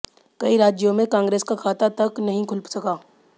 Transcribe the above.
कई राज्यों में कांग्रेस का खाता तक नहीं खुल सका